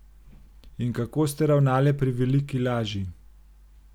In kako ste ravnale pri veliki laži?